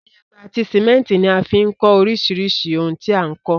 Iyẹ́pẹ́ àti cement ní a fi n kó orísirísì oun ti a n kó